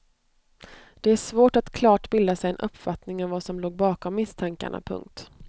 Det är svårt att klart bilda sig en uppfattning om vad som låg bakom misstankarna. punkt